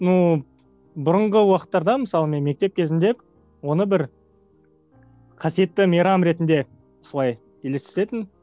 ну бұрынғы уақыттарда мысалы мен мектеп кезінде оны бір қасиетті мейрам ретінде солай елестетінмін